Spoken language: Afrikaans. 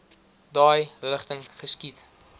daai rigting geskiet